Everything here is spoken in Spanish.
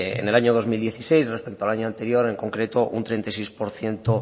en el año dos mil dieciséis respecto al año anterior en concreto un treinta y seis por ciento